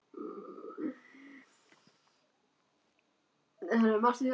Af hverju er hún að reyna við hann núna, á síðasta skólaballinu?